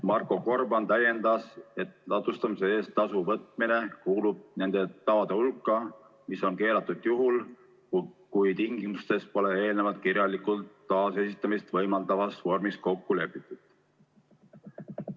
Marko Gorban täiendas, et ladustamise eest tasu võtmine kuulub nende tavade hulka, mis on keelatud juhul, kui tingimustes pole eelnevalt kirjalikult taasesitamist võimaldavas vormis kokku lepitud.